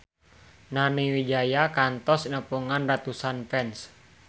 Nani Wijaya kantos nepungan ratusan fans